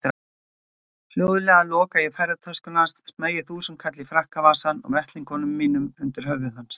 Hljóðlega loka ég ferðatöskunni hans, smeygi þúsundkalli í frakkavasann og vettlingunum mínum undir höfuð hans.